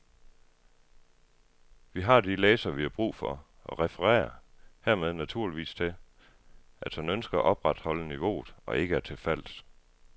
Vi har de læsere, vi har brug for og referer hermed naturligvis til, at han ønsker at opretholde niveauet og ikke er til fals.